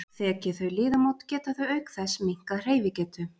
Þeki þau liðamót geta þau auk þess minnkað hreyfigetu.